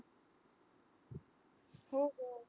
हो गं.